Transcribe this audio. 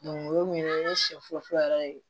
o ye mun ye ne ye siɲɛfɔlɔ fɔlɔ yɛrɛ ye